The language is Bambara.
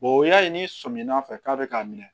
o y'a ye ni sɔminna fɛ k'a bɛ k'a minɛ